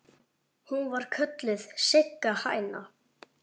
Hún var kölluð Sigga hæna.